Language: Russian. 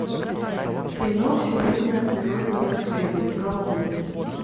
кино всемирное природное наследие колумбия